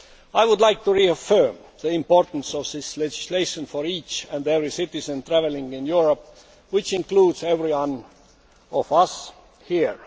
I would like to reaffirm the importance of this legislation for each and every citizen travelling in Europe, which includes every one of us here.